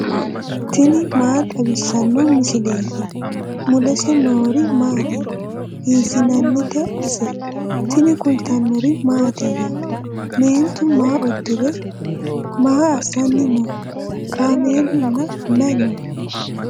tini maa xawissanno misileeti ? mulese noori maati ? hiissinannite ise ? tini kultannori mattiya? Meentu maa udirre? maa assanni noo? kaameelu nna mayi noo?